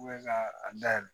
ka a dayɛlɛ